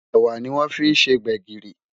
ẹwà ní wón fí ṣé gbègirí